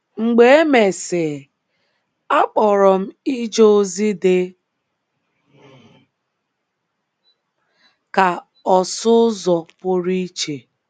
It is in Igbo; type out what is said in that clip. Mgbe emesịi, a kpọrọ m ije ozi dị ka ọsụ ụzọ pụrụ iche.